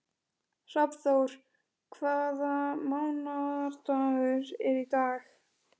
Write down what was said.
Hrafnþór, hvaða mánaðardagur er í dag?